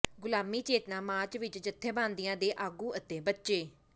ਗੁਲਾਮੀ ਚੇਤਨਾ ਮਾਰਚ ਵਿੱਚ ਜੱਥੇਬੰਦੀਆਂ ਦੇ ਆਗੂ ਅਤੇ ਬੱਚੇ